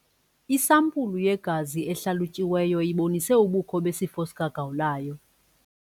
Isampulu yegazi ehlalutyiweyo ibonise ubukho besifo sikagawulayo.